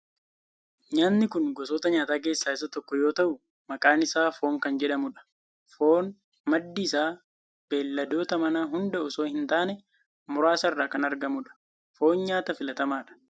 Nyaatni kun gosoota nyaataa keessaa isa tokko yoo ta'u maqaan isaa foon kan jedhamudha. Foon maddi isaa beelladoota manaa hunda osoo hin taane muraasa irraa kan argamudha. Foon nyaata filatamaadha.